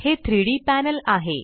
हे 3Dपॅनल आहे